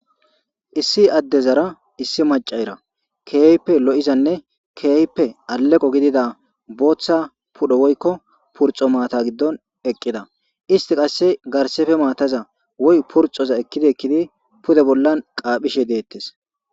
Issi addezara issi maccara kehippe lo'izanne kehippe aleqqo giddoda bothth pudhoo woyikko purxxo matta giddon eqqida issti qase garseppe mataza woykko purxxoza garssepe ekidi bollan qaphishshe dettes.